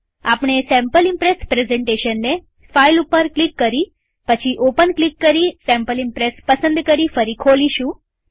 આપણે sample Impress પ્રેઝન્ટેશનને file ઉપર ક્લિક કરી પછી ઓપન ક્લિક કરી સેમ્પલ ઈમ્પ્રેસ પસંદ કરી ફરી ખોલીશું